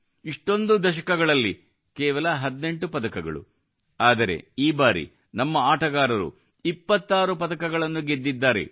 ಇಷ್ಟೊಂದು ದಶಕಗಳಲ್ಲಿ ಕೇವಲ 18 ಪದಕಗಳು ಆದರೆ ಈ ಬಾರಿ ನಮ್ಮ ಆಟಗಾರರು 26 ಪದಕಗಳನ್ನು ಗೆದ್ದಿದ್ದಾರೆ